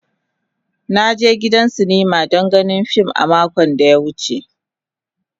Na je gidan sinima don ganin fim a makon da ya wuce.